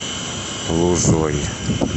лузой